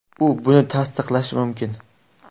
U buni tasdiqlashi mumkin.